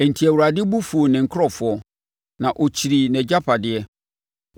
Enti, Awurade bo fuu ne nkurɔfoɔ; na ɔkyirii nʼagyapadeɛ.